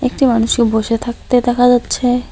একটি মানুষকে বসে থাকতে দেখা যাচ্ছে।